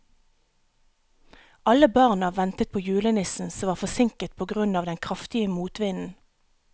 Alle barna ventet på julenissen, som var forsinket på grunn av den kraftige motvinden.